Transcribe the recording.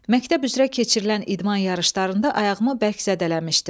Məktəb üzrə keçirilən idman yarışlarında ayağımı bərk zədələmişdim.